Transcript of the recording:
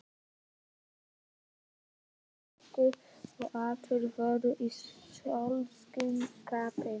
Brandararnir fuku og allir voru í sólskinsskapi.